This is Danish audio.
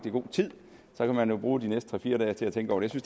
i god tid så kan man jo bruge de næste tre fire dage til at tænke over det